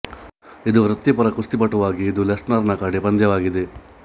ಇದು ವೃತ್ತಿಪರ ಕುಸ್ತಿಪಟುವಾಗಿ ಇದು ಲೆಸ್ನರ್ ರ ಕಡೆ ಪಂದ್ಯವಾಗಿದೆ